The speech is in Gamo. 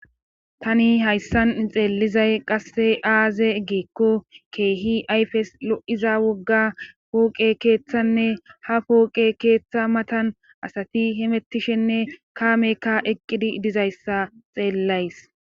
tani hayssan xeelizay qasse aaze geekko keehi ayfes lo7iza wogga pooqe keeththanne ha pooqe keeththa matan asati hemettishenne kaamekka eqqidi dizayssa xeellays